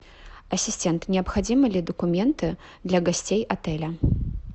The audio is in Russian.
ассистент необходимы ли документы для гостей отеля